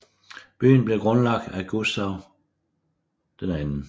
Byen blev grundlagt af Gustav 2